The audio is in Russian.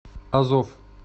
азов